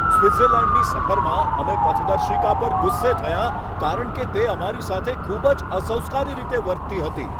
સ્વિટ્ઝર્લૅન્ડની સફર પર અમે પથદર્શિકા પર ગુસ્સે થયા કારણ કે તે અમારી સાથે ખૂબ જ અસંસ્કારી રીતે વર્તતી હતી.